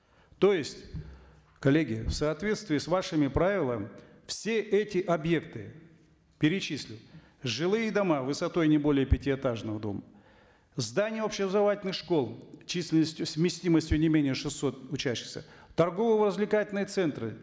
то есть коллеги в соответствии с вашими правилами все эти объекты перечислю жилые дома высотой не более пятиэтажного дома здания общеобразовательных школ численностью с вместимостью не менее шестисот учащихся торгово развлекательные центры